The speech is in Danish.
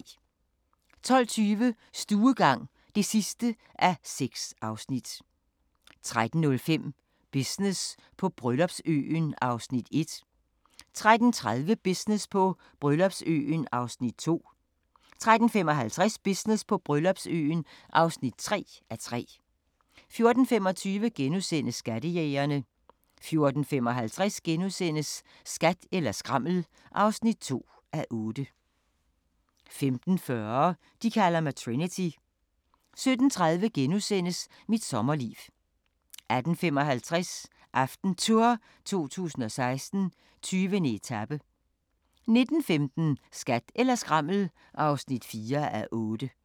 12:20: Stuegang (6:6) 13:05: Business på Bryllupsøen (1:3) 13:30: Business på Bryllupsøen (2:3) 13:55: Business på Bryllupsøen (3:3) 14:25: Skattejægerne * 14:55: Skat eller skrammel (2:8)* 15:40: De kalder mig Trinity 17:30: Mit sommerliv * 18:55: AftenTour 2016: 20. etape 19:15: Skat eller skrammel (4:8)